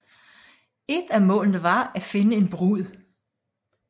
Et af målene var at finde en brud